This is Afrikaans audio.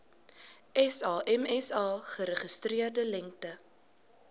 samsa geregistreerde lengte